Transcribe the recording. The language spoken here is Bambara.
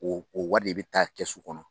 o o wari de bɛ taa kɛsU kɔnɔ.